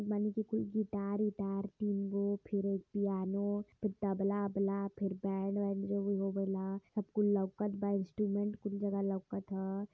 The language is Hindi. कुल गिटार -उटार फिर पियानो फिर तबला-ओबला फिर बैंड -वैंड जो भी होवेला सब कुल लउकत बा। इंस्ट्रूमेंट कुल जगह लउकत ह।